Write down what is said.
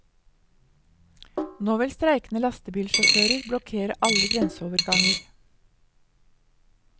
Nå vil streikende lastebilsjåfører blokkere alle grenseoverganger.